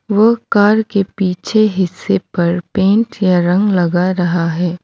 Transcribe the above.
वो कार के पीछे हिस्से पर पेंट या रंग लगा रहा है।